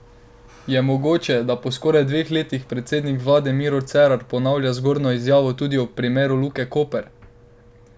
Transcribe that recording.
Je mogoče, da po skoraj dveh letih predsednik vlade Miro Cerar ponavlja zgornjo izjavo tudi ob primeru Luke Koper?